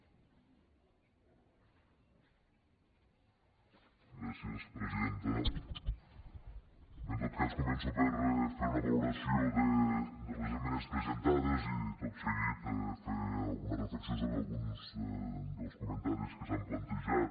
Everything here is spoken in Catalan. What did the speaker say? bé en tot cas començo per fer una valoració de les esmenes presentades i tot seguir fer alguna reflexió sobre alguns dels comentaris que s’han plantejat